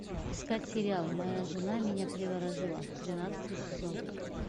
искать сериал моя жена меня приворожила тринадцатый сезон